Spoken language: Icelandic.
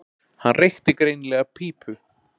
Hann reykti greinilega pípu.